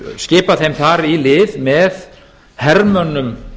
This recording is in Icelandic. skipa þeim þar í lið með hermönnum